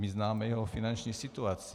My známe jeho finanční situaci.